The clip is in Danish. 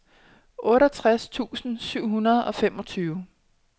otteogtres tusind syv hundrede og femogtyve